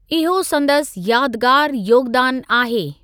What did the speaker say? इहो संदसि यादगारु योगदानु आहे।